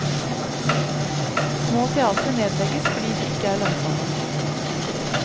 Små teatre nedlegges fordi de ikke er lønnsomme.